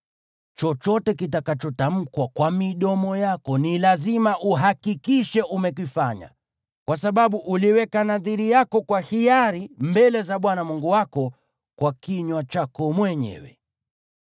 Chochote kitakachotamkwa kwa midomo yako ni lazima uhakikishe umekifanya, kwa sababu uliweka nadhiri yako kwa hiari mbele za Bwana Mungu wako kwa kinywa chako mwenyewe.